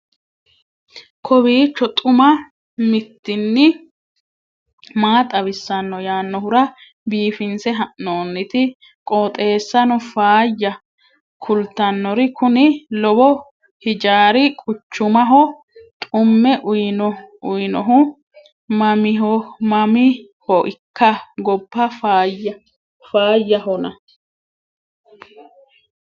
kowiicho xuma mtini maa xawissanno yaannohura biifinse haa'noonniti qooxeessano faayya kultannori kuni lowo hijaari quchumaho xumme uyinohu mamiihoikka gobba faayahona